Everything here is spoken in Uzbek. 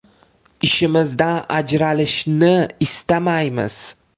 Ishimizdan ajralishni istamaymiz.